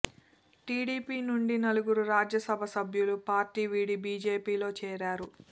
TDP నుండి నలుగురు రాజ్య సభ సభ్యులు పార్టీ వీడి బీజేపీలో చేరారు